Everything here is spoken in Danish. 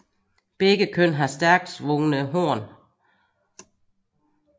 Begge køn har stærkt svungne horn